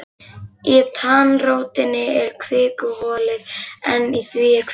Í tannrótinni er kvikuholið en í því er kvikan.